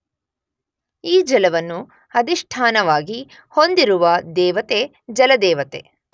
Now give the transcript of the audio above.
ಈ ಜಲವನ್ನು ಅಧಿಷ್ಠಾನವಾಗಿ ಹೊಂದಿರುವ ದೇವತೆ ಜಲದೇವತೆ